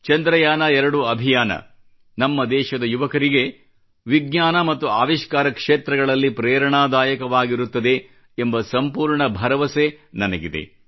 ಚಂದ್ರಯಾನ 2 ಅಭಿಯಾನ ನಮ್ಮ ದೇಶದ ಯುವಕರಿಗೆ ವಿಜ್ಞಾನ ಮತ್ತು ಆವಿಷ್ಕಾರ ಕ್ಷೇತ್ರಗಳಲ್ಲಿ ಪ್ರೇರಣಾದಾಯಕವಾಗಿರುತ್ತದೆ ಎಂಬ ಸಂಪೂರ್ಣ ಭರವಸೆ ನನಗಿದೆ